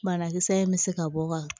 Banakisɛ in bɛ se ka bɔ ka